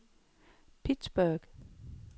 Pittsburgh